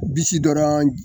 Bisi dɔrɔn ji